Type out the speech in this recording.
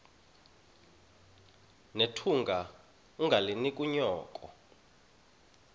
nethunga ungalinik unyoko